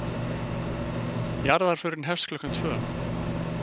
Jarðarförin hefst klukkan tvö.